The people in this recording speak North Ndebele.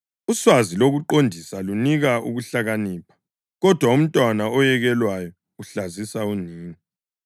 Uswazi lokuqondisa lunika ukuhlakanipha, kodwa umntwana oyekelwayo uhlazisa unina.